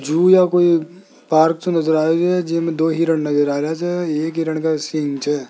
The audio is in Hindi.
जू या कोई पार्क से नजर आ रही हैं जिनमें दो हिरण नजर आ रहे से एक हिरन का --